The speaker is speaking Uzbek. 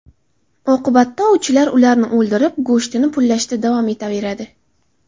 Oqibatda ovchilar ularni o‘ldirib, go‘shtini pullashda davom etaveradi.